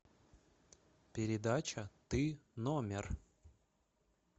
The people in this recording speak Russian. передача ты номер